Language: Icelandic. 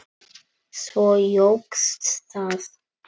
Svo jókst það.